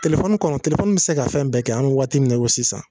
Telefɔni kɔnɔ telefɔni bi se ka fɛn bɛɛ kɛ an be waati min na i ko sisan